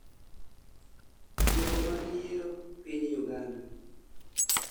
duoko mag yiero piny Uganda